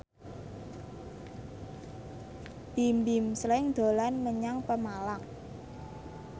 Bimbim Slank dolan menyang Pemalang